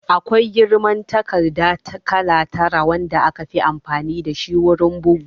Akwai girman takarda kala tara wanda aka fi amfani dashi wurin bugu